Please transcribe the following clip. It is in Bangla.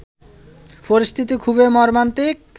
পরিস্থিতি খুবই মর্মান্তিক